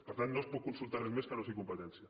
per tant no es pot consultar res més que no sigui competència